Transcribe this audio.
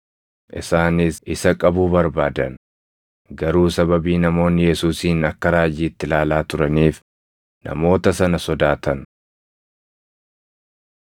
Isaanis isa qabuu barbaadan; garuu sababii namoonni Yesuusin akka raajiitti ilaalaa turaniif namoota sana sodaatan.